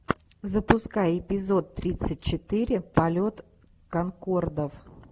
запускай эпизод тридцать четыре полет конкордов